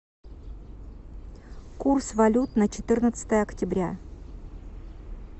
курс валют на четырнадцатое октября